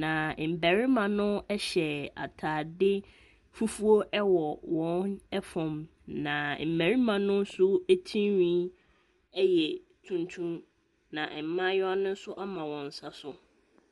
na mbarima no hyɛ ataade fufuo wɔ wɔn fam, na mmarima no nso tirihwi yɛ tuntum, na mmaayewa no nso ama wɔn nsa so.